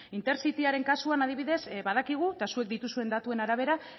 intercityaren kasuan adibidez badakigu eta zuek dituzuen datuen arabera